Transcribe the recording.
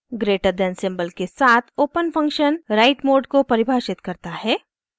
greater than > symbol के साथ open function write mode को परिभाषित करता है